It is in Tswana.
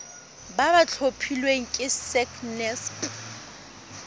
ba ba tlhophilweng ke sacnasp